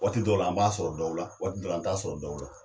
Waati dɔw la, an b'a sɔrɔ dɔw la, waati dɔw la an t'a sɔrɔ dɔw la.